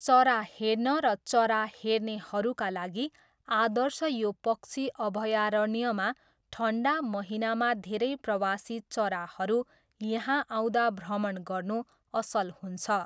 चरा हेर्न र चरा हेर्नेहरूका लागि आदर्श यो पक्षी अभयारण्यमा ठन्डा महिनामा धेरै प्रवासी चराहरू यहाँ आउँदा भ्रमण गर्नु असल हुन्छ।